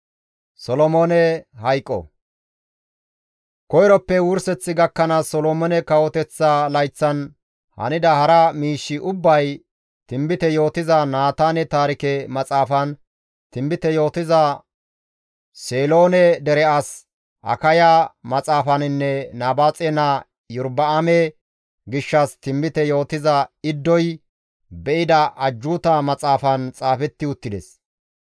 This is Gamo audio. Koyroppe wurseth gakkanaas Solomoone kawoteththa layththan hanida hara miishshi ubbay Tinbite yootiza Naataane Taarike Maxaafan, Tinbite yootiza Seeloone dere as Akaya Maxaafaninne Nabaaxe Naa Iyorba7aame gishshas Tinbite yootida Iddoy Be7ida Ajjuuta Maxaafan xaafetti uttides.